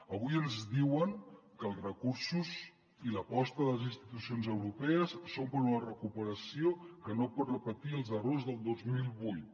avui ens diuen que els recursos i l’aposta de les institucions europees són per una recuperació que no pot repetir els errors del dos mil vuit